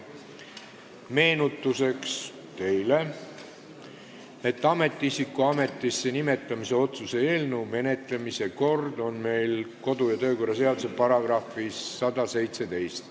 Meenutuseks teile, et ametiisiku ametisse nimetamise otsuse eelnõu menetlemise kord on kirjas meie kodu- ja töökorra seaduse §-s 117.